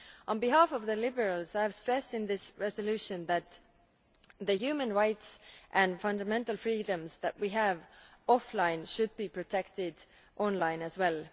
On behalf of the Liberals, I have stressed in this resolution that the human rights and fundamental freedoms that we have offline should be protected online as well.